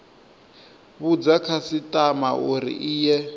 vhudza khasitama uri i ye